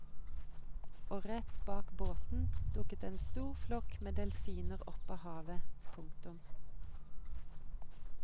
Og rett bak båten dukket en stor flokk med delfiner opp av havet. punktum